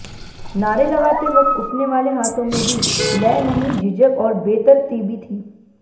नारे लगाते वक्त उठने वाले हाथों में भी लय नहीं झिझक और बेतरतीबी थी